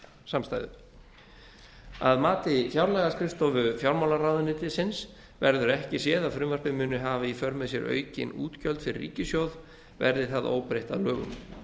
samstæðu að mati fjárlagaskrifstofu fjármálaráðuneytisins verður ekki séð að frumvarpið muni hafa í för með sér aukin útgjöld fyrir ríkissjóð verði það óbreytt að lögum